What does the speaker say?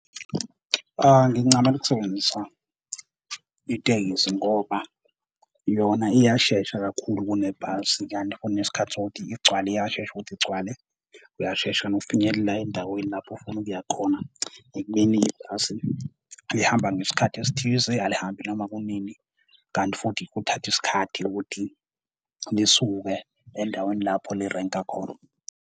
Ngincamela ukusebenzisa itekisi ngoba yona iyashesha kakhulu kune bhasi, kanti kunesikhathi sokuthi igcwale iyashesha ukuthi igcwale, uyashesha nokufinyelela endaweni lapho ofuna ukuya khona. Emini ibhasi lihamba ngesikhathi esithize, alihambi noma kunini, kanti futhi kuthatha isikhathi ukuthi lisuke endaweni lapho li-rank-a khona.